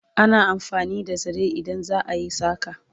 ana amfani da zare idan za'a yi saƙa